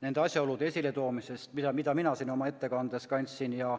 nende asjaolude esiletoomisest, mida mina siin oma ettekandes ette kandsin.